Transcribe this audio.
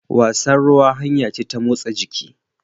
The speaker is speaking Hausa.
Wasan ruwa hanya ce ta motsa jiki.